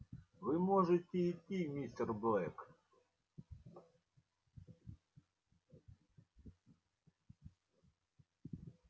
вы можете идти мистер блэк